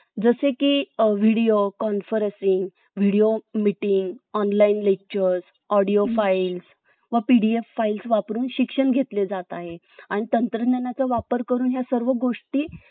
जसे की Video Conferencing , Video Meeting , Online Lecture , Audio File , व PDF Files वापरून शिक्षण घेतले जात आहे आणि तंत्रज्ञानाचा वापर करून या सर्व गोष्टी